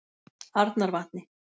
Arnarvatni